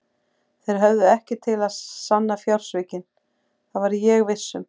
Þeir höfðu ekkert til að sanna fjársvikin, það var ég viss um.